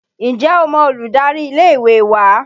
Ǹjẹ́ o mọ olùdarí ilé ìwé wa?